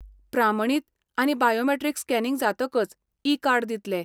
प्रामणीत आनी biometric scanning जातकच, e card दितलें.